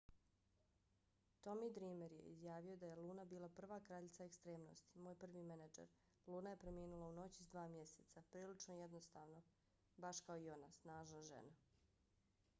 tommy dreamer je izjavio da je luna bila prva kraljica ekstremnosti. moj prvi menadžer. luna je preminula u noći s dva mjeseca. prilično jedinstveno baš kao i ona. snažna žena.